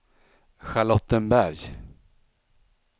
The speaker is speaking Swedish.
Charlottenberg